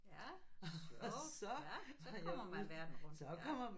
Ja sjovt ja så kommer man verden rundt ja